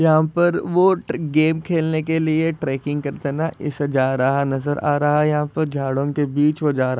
यहाँ पर वो गेम खेलने के लिए ट्रैकिंग करता था इसलिए जा रहा नज़र आ रहा है। यहाँ पर झाड़ो के बीच वो जारा--